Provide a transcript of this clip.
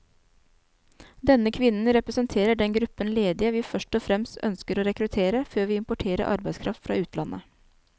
Denne kvinnen representerer den gruppen ledige vi først og fremst ønsker å rekruttere, før vi importerer arbeidskraft fra utlandet.